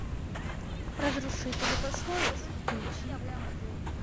разрушители пословиц включи